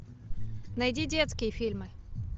найди детские фильмы